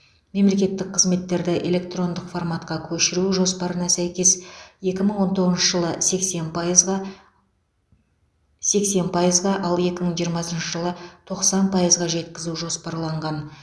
мемлекеттік қызметтерді электрондық форматқа көшіру жоспарына сәйкес екі мың он тоғызыншы жылы сексен пайызға сексен пайызға ал екі мың жиырмасыншы жылы тоқсан пайызға жеткізу жоспарланған